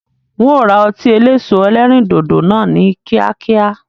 Ń ó ra ọtí eléso ẹlẹ́rìndòdò náà ni kíákíá.